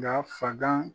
Nka fagan